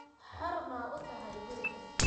Xor ma u tahay gurigan?